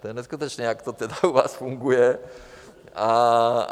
To je neskutečné, jak to tedy u vás funguje.